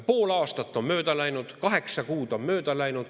Pool aastat on mööda läinud, kaheksa kuud on mööda läinud.